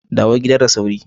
Dawo gida da sauri.